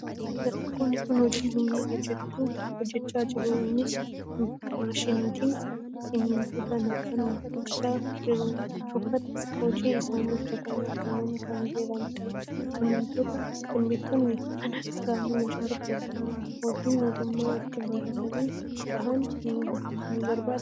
Dargaggoonni kun hojii humnaa hojjechaa jiru. Innis maashiniitti simmintoo naqanii bukeessaa jiru. Uffata hojii isaanii uffatanii argamanii kan jiranidha. Simmintoon mana gamoo ijaaruuf gargaara. Hojiin ogummaa itti baratanii bahan ni barbaadaa?